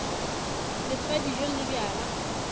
le fa dijo le bjala